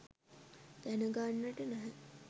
දැනගන්නට නැහැ.